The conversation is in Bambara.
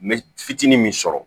N bɛ fitinin min sɔrɔ